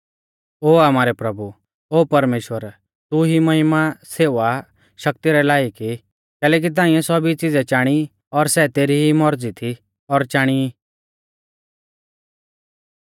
ओ आमारै प्रभु और परमेश्‍वर तू ई महिमा सेवा शक्ति रै लायक ई कैलैकि ताइंऐ सौभी च़िज़ै चाणी और सै तेरी ई मौरज़ी री थी और चाणी ई